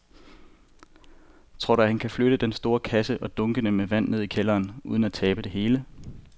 Tror du, at han kan flytte den store kasse og dunkene med vand ned i kælderen uden at tabe det hele?